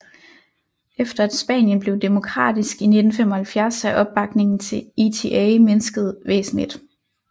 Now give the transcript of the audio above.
Efter at Spanien blev demokratisk i 1975 er opbakningen til ETA mindsket væsentligt